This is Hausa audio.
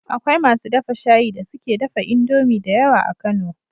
Akwai masu dafa shayi da suke dafa indomie da yawa a kano